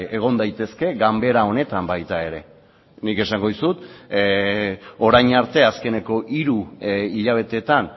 egon daitezke ganbera honetan baita ere nik esango dizut orain arte azkeneko hiru hilabeteetan